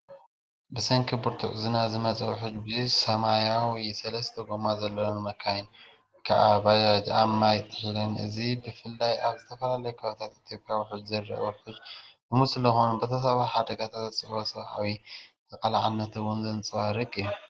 ብሰንኪ ብርቱዕ ዝናብ ዝመጸ ውሕጅ፡ ብዙሕ ሰማያዊ ሰለስተ ጎማ ዘለወን መካይን (ባጅ) ኣብ ማይ ጥሒለን፣ እዚ ብፍላይ ኣብ ዝተፈላለዩ ከባቢታት ኢትዮጵያ ውሕጅ ዝረአ ውሕጅ ልሙድ ስለዝኾነ ብተፈጥሮኣዊ ሓደጋታት ዘስዕቦ ሰብኣዊ ተቓላዕነትን ዕንወትን ዘንጸባርቕ እዩ።